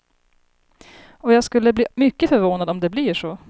Och jag skulle bli mycket förvånad om det blir så.